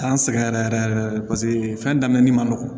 K'an sɛgɛn yɛrɛ yɛrɛ yɛrɛ paseke fɛn daminɛ ni manɔgɔ